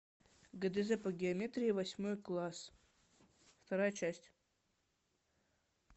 гдз по геометрии восьмой класс вторая часть